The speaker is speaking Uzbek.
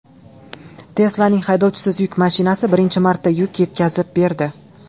Tesla’ning haydovchisiz yuk mashinasi birinchi marta yuk yetkazib berdi.